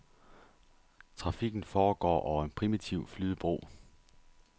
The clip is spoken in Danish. Trafikken foregår over en primitiv flydebro.